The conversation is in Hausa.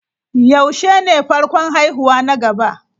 Yaushe ne farkon haihuwa na gaba?